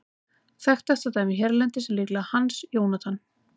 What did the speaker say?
Þekktasta dæmið hérlendis er líklega Hans Jónatan.